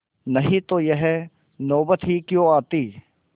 नहीं तो यह नौबत ही क्यों आती